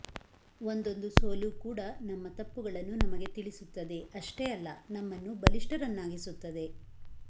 ಒಂದೊಂದು ಸೋಲು ಕೂಡ ನಮ್ಮ ತಪ್ಪುಗಳನ್ನು ನಮಗೆ ತಿಳಿಸುತ್ತದೆ ಅಷ್ಟೇ ಅಲ್ಲ ನಮ್ಮನ್ನು ಬಲಿಷ್ಠರನ್ನಾಗಿಸುತ್ತದೆ